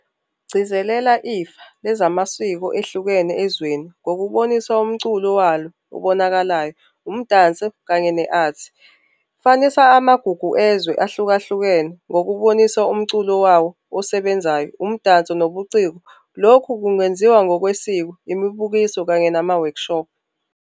Gcizelela ifa lezamasiko ehlukene ezweni ngokubonisa umculo walo obonakalayo umdanso kanye ne-art. Fanisa amagugu ezwe ahlukahlukene ngokubonisana umculo wawo osebenzayo umdanso nobuciko. Lokhu kungenziwa ngokwesiko imibukiso kanye nama-workshop.